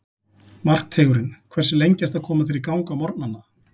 Markteigurinn Hversu lengi ertu að koma þér í gang á morgnanna?